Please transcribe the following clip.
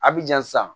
A bi jan sisan